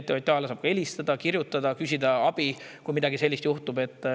TTJA‑le saab helistada, kirjutada, et küsida abi, kui midagi sellist juhtub.